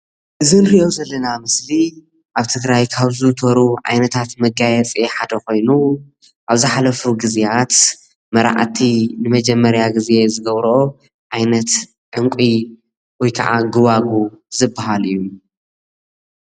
እዚ ንሪኦ ዘለና ምስሊ ኣብ ትግራይ ካብዝዝውተሩ ዓይነታት መጋየፂ ሓደ ኮይኑ ኣብዝሓለፉ ግዝያት መራዕቲ ንመጀመርያ ግዜ ዝገብረኦ ዓይነት ዕንቒ ወይ ከዓ ጎዋጉው ዝበሃል እዩ።